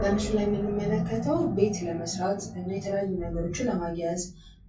በምስሉ ላይ የምንመለከተው ቤት ለመስራት የተለያዩ ነገሮችን ለማያያዝ